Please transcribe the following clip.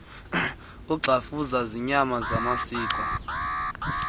uxhafuza iinyama zamasiko